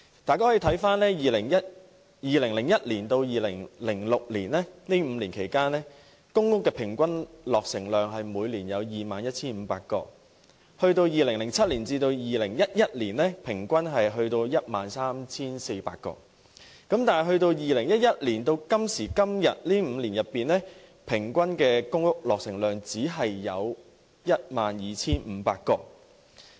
大家可翻查一下，在2001年至2006年這5年期間，公屋的平均落成量為每年 21,500 個 ，2007 年至2011年，公屋平均落成量為 13,400 個，而由2011年至今這5年中，公屋平均落成量只有 12,500 個。